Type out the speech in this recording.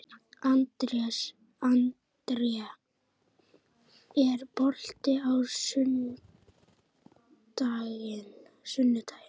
André, er bolti á sunnudaginn?